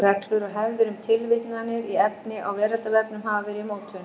Reglur og hefðir um tilvitnanir í efni á Veraldarvefnum hafa verið í mótun.